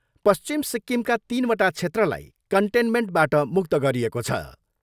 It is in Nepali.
पश्चिम सिक्कमका तिनवटा क्षेत्रलाई कन्टेनमेन्टबाट मुक्त गरिएको छ।